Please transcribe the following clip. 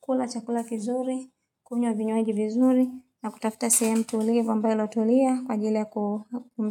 kula, chakula kizuri, kunywa vinywaji vizuri na kutafuta sehemu tulivu ambayo iliyotulia kwa ajili ya kumit.